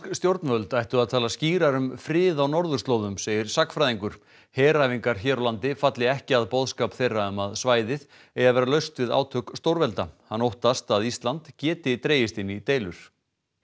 stjórnvöld ættu að tala skýrar um frið á norðurslóðum segir sagnfræðingur heræfingar hér á landi falli ekki að boðskap þeirra um að svæðið eigi að vera laust við átök stórvelda hann óttast að Ísland geti dregist inn í deilur